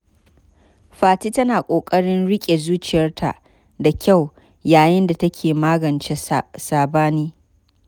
Fati tana kokarin rike zuciyarta da kyau yayin da take magance sabani.